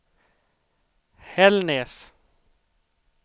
Hällnäs